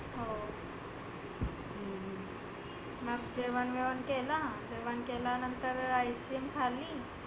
हो हम्म मग जेवन बिवन केला. जेवन केल्यानंतर ice cream खाल्ली